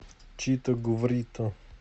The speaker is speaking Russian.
чито гврито